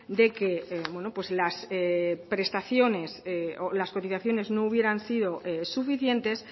de que las prestaciones o las cotizaciones no hubieran sido suficientes